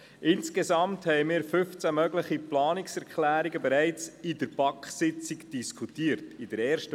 Insgesamt diskutierten wir bereits in der ersten Sitzung der BaK 15 mögliche Planungserklärungen.